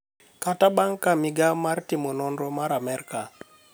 kata bang’ ka migao mar timo nonro mar Amerka